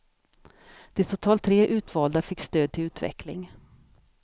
De totalt tre utvalda fick stöd till utveckling.